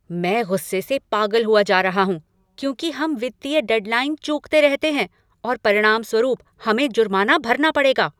मैं गुस्से से पागल हुआ जा रहा हूं क्योंकि हम वित्तीय डेडलाइन चूकते रहते हैं और परिणामस्वरूप हमें जुर्माना भरना पड़ेगा।